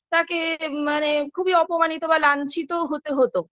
তাকে মানে খুবই অপমানিত বা লাঞ্ছিত হতে হত